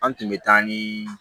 An tun bɛ taa ni